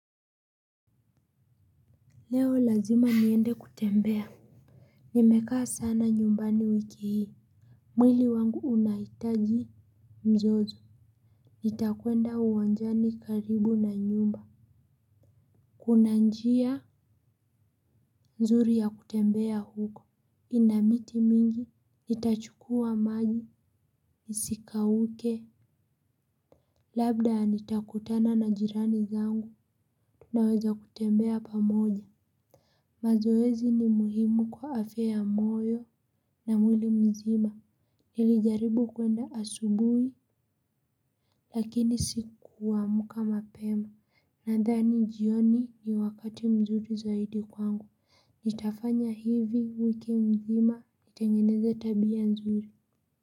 Leo lazima niende kutembea nimekaa sana nyumbani wiki hii mwili wangu unahitaji mzozo nitakwenda uwanjani karibu na nyumba kuna njia nzuri ya kutembea huko ina miti mingi nitachukua maji nisikauke labda nitakutana na jirani zangu tunaweza kutembea pamoja mazoezi ni muhimu kwa afya ya moyo na mwili mzima. Nilijaribu kwenda asubuhi lakini sikuamka mapema. Nadhani jioni ni wakati mzuri zaidi kwangu nitafanya hivi wiki mzima nitengeneza tabia mzuri.